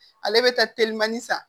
Ale bɛ taa telimani san